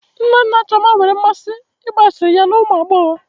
Nna nna Chioma nwere mmasị n'ịgba asịrị ya na ụmụ agbọghọ